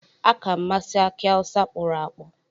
Aka m masi aki awusa kporo-akpo.